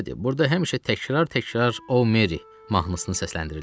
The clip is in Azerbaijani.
Qəribədir, burda həmişə təkrar-təkrar “Oh, Meri” mahnısını səsləndirirdilər.